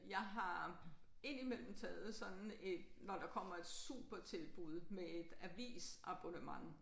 Jeg har indimellem taget sådan et når der kommer et supertilbud med et avisabonnement